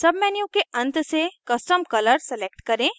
menu के अंत से custom color select करें